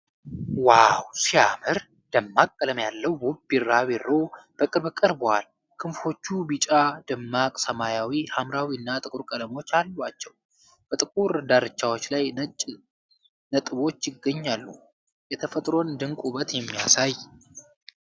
ዋው ሲያምር! ደማቅ ቀለም ያለው ውብ ቢራቢሮ በቅርብ ቀርቧል። ክንፎቹ ቢጫ፣ ደማቅ ሰማያዊ፣ ሐምራዊና ጥቁር ቀለሞች አሏቸው። በጥቁር ዳርቻቸው ላይ ነጭ ነጥቦች ይገኛሉ። የተፈጥሮን ድንቅ ውበት የሚያሳይ